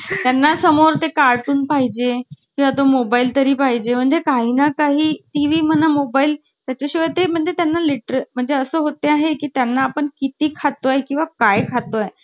तर काही झालं नाही ना त्याला? पप्पांसमोर रडत होता तो धो-धो धो-धो आणि ते मला अजून ओरडताहेत पण, मी त्यांना हसत-हसत सांगतेय, 'पप्पा मी असं केलं' म्हणून. नंतर मग बाई मला नंतर पप्पावर नंतर त्यांचा घरी गेले